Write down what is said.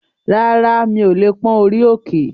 Rárá, mi ò lè pón orí òkè